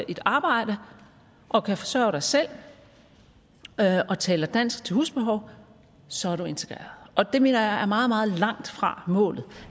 et arbejde og kan forsørge dig selv og taler dansk til husbehov så er du integreret og det mener jeg er meget meget langt fra målet